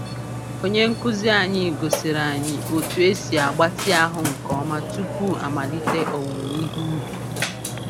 Onye nkuzi anyị gosiri anyị otu esi agbatị ahụ nke ọma tupu amalite owuowe ihe ubi.